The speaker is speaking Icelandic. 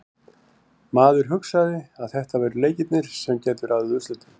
Maður hugsaði að þetta væru leikirnir sem gætu ráðið úrslitum.